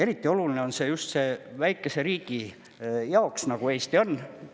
Eriti oluline on see just väikese riigi jaoks, nagu Eesti on.